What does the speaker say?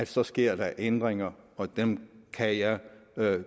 så sker der ændringer og dem kan jeg